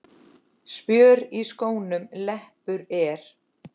Spjör í skónum leppur er.